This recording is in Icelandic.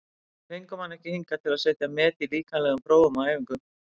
Við fengum hann ekki hingað til að setja met í líkamlegum prófum á æfingum.